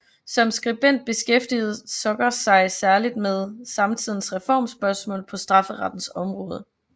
Som skribent beskæftigede Zucker sig særlig med samtidens reformspørgsmål på strafferettens område